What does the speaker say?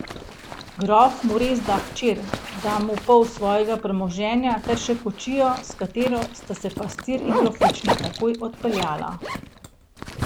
Grof mu res da hčer, da mu pol svojega premoženja ter še kočijo, s katero sta se pastir in grofična takoj odpeljala.